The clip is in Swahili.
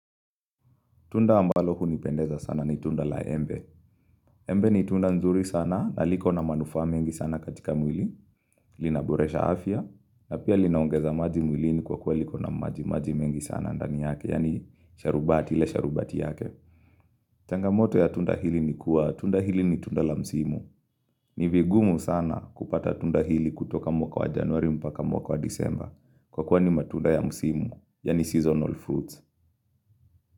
Tunda ambalo hunipendeza sana ni tunda la embe. Embe ni tunda nzuri sana na liko na manufaa mengi sana katika mwili. Lina boresha afya. Na pia lina ongeza maji mwili ni kwa kuwa liko na maji maji mengi sana ndani yake. Yani sharubati ile sharubati yake. Changamoto ya tunda hili ni kuwa tunda hili ni tunda la msimu. Ni vigumu sana kupata tunda hili kutoka mwaka wa januari mpaka mwaka wa disemba. Kwa kuwa ni matunda ya msimu. Yani seasonal fruits.